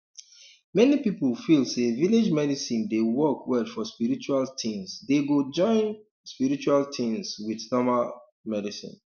many people feel say village medicine de work well for spiritual things dey go join um spiritual things with normal um medicine